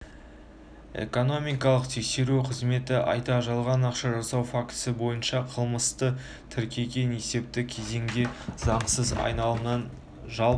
экономикалық тексеру қызметі айда жалған ақша жасау фактісі бойынша қылмысты тіркеген есепті кезеңде заңсыз айналымнан жалпы